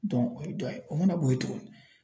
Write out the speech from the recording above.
o ye dɔ ye o mana bɔ ye tuguni